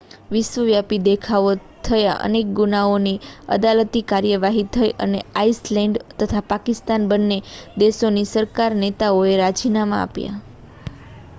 વિશ્વવ્યાપી દેખાવો થયા અનેક ગુનાઓની અદાલતી કાર્યવાહી થઈ અને આઇસલૅન્ડ તથા પાકિસ્તાન બન્ને દેશોની સરકારના નેતાઓએ રાજીનામાં આપ્યાં